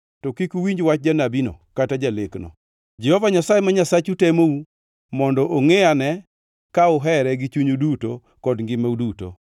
to kik uwinj wach janabino kata jalekno. Jehova Nyasaye ma Nyasachu temou mondo ongʼe ane ka uhere gi chunyu duto kod ngimau duto.